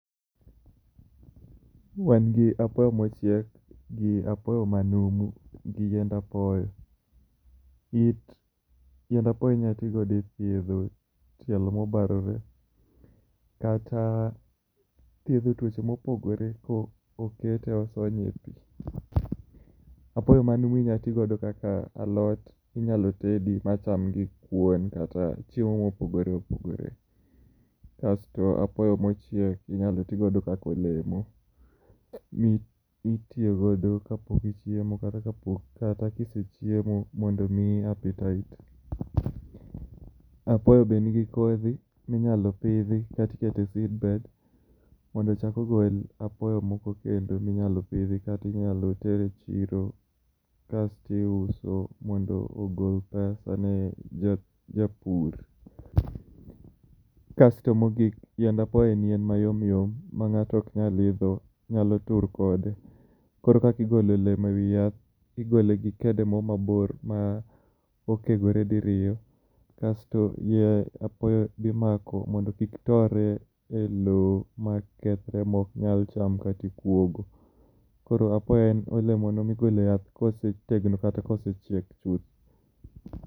Wan gi apoyo mochiek gi apoyo manumu, gi yiend apoyo.. It yiend apoyo inyalo thiedho tielo mobarore kata thiedho tuoche mopogore kokete osonye epi. Apoyo manumu inyalo ti godo kaka alot, inyalo tede kaka alot , machame gi kuon, kata chiemo mopogore opogore. Kasto apoyo mochiek inyalo ti godo kaka olemo. Mitiyo godo kapok ichiemo kata ka ise chiemo mondo omiyi appetite. Apoyo bende nigi kodhi minyalo pidhi kata iketo e seed bed mondo ochak ogol apoyo moko minyalo pidh kata inyalo ter e chiro kasto iuso mondo ogol pesa ne japur. Kas to mogik, yiend apoyo en yien mayom yom ma ng'ato ok nyal idho. Nyalo tur kode. Koro kaka igolo olemo ewi yath, igole gi kede moro mabor ma oegore diriyo kae to yiend apoyo be imako mondo kik tore elowo makethre maok nyal chamre kikuogo. Koro apoyo en olemono migolo eyath kosetegno kata kosechiek chuth.